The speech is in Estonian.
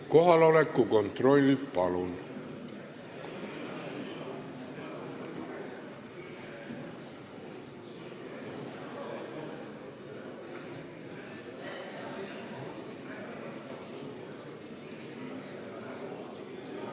Kohaloleku kontroll, palun!